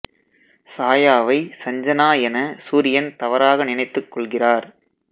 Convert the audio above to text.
சாயாவை சஞ்சனா என சூரியன் தவறாக நினைத்து க் கொள்கிறார்